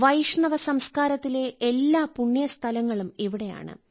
വൈഷ്ണവ സംസ്കാരത്തിലെ എല്ലാ പുണ്യസ്ഥലങ്ങളും ഇവിടെയാണ്